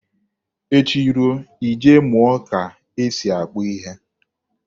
Echi ruo, ị je mụọ ka e si akpụ ihe.